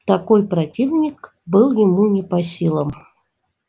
такой противник был ему не по силам